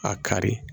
A kari